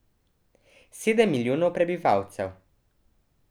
Sedem milijonov prebivalcev.